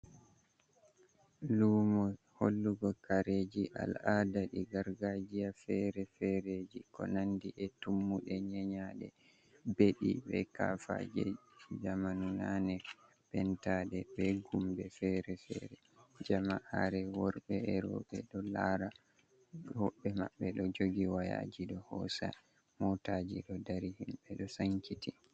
Lumo hollugo kareji al'aada jei gargajiya fere-fereji ko nandi e tummuɗe nyenyaɗe, beɗi be kafaaje jamanu naane pentaɗe be gumbe fere- fere, jama'are worɓe e rooɓe ɗo laara, hoɓɓe maɓɓe ɗo jogi wayaaji ɗo hoosa, motaaji ɗo dari himɓe ɗo sankiti.